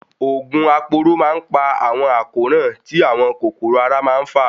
Òògùn aporó má ń pa àwọn àkóràn tí àwọn kòkòrò ara má ń fà.